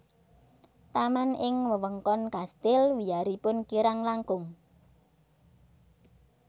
Taman ing wewengkon Kastil wiyaripun kirang langkung